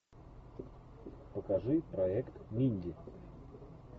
покажи проект минди